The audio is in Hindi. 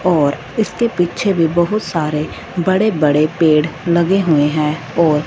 और इसके पीछे भी बहुत सारे बड़े-बड़े पेड़ लगे हुए है और --